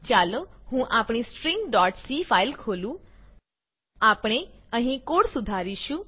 ચાલો હું આપણી stringસી ફાઈલ ખોલું આપણે અહીં કોડ સુધારીશું